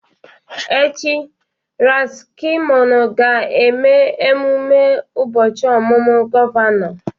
Echi, Ras Kimono ga-eme emume ụbọchị ọmụmụ gọvanọ